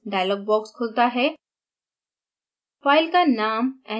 save molecule dialog box खुलता है